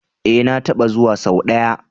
E, na taɓa zuwa sau ɗaya.